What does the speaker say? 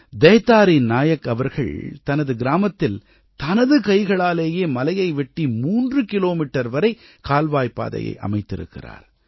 தைதாரி நாயக் அவர்கள் தனது கிராமத்தில் தனது கைகளாலேயே மலையை வெட்டி மூன்று கிலோமீட்டர் வரை கால்வாய் பாதையை அமைத்திருக்கிறார்